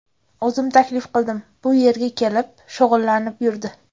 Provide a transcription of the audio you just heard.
O‘zim taklif qildim, bu yerga kelib, shug‘ullanib yurdi.